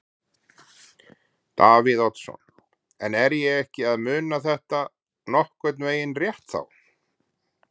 Davíð Oddsson: En er ég ekki að muna þetta nokkurn veginn rétt þá?